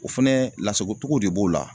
O fɛnɛ lasagotogo de b'o la